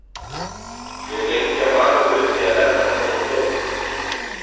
Ég er lengi að mana mig upp í að nefna þetta við Þórð.